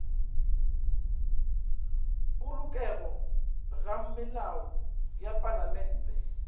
polokego ga melao ya palamente